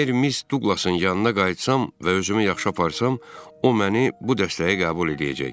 Əgər Miss Duqlasın yanına qayıtsam və özümü yaxşı aparsam, o məni bu dəstəyə qəbul eləyəcək.